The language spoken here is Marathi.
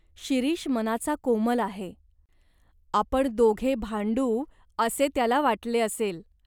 शिरीष मनाचा कोमल आहे. आपण दोघे भांडू असे त्याला वाटले असेल.